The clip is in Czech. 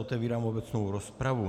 Otevírám obecnou rozpravu.